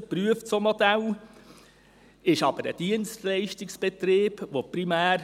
Es prüft solche Modelle, ist aber ein Dienstleistungsbetrieb, der primär